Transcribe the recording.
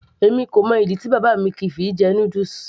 èmi kò mọ ìdí tí bàbá mi kìí fi jẹ noodles